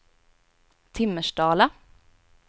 Timmersdala